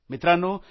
मित्रांनो